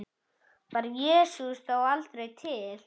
Var Jesús þá aldrei til?